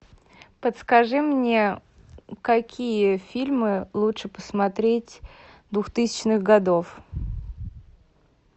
подскажи мне какие фильмы лучше посмотреть двухтысячных годов